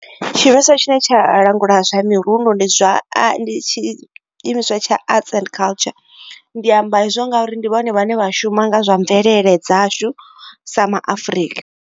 Tshiimiswa tshine tsha langula zwa mirundu ndi zwa a ndi tshi imiswa tsha Arts and Culture. Ndi amba hezwo nga uri ndi vhone vhane vha shuma nga zwa mvelele dzashu sa ma Afrika.